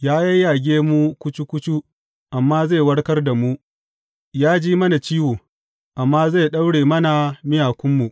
Ya yayyage mu kucu kucu amma zai warkar da mu; ya ji mana ciwo amma zai daure mana miyakunmu.